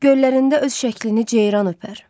Göllərində öz şəklini ceyran öpər.